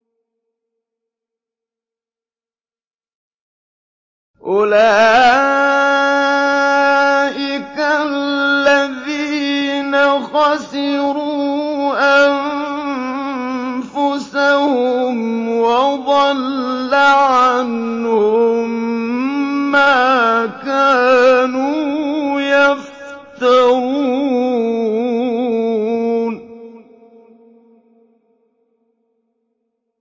أُولَٰئِكَ الَّذِينَ خَسِرُوا أَنفُسَهُمْ وَضَلَّ عَنْهُم مَّا كَانُوا يَفْتَرُونَ